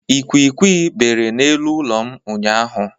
Ikwikwi bere n'elu ụlọ m ụnyaahụ.